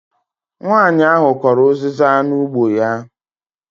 Nwanyi ahụ kọrọ uziza n'ugbo ya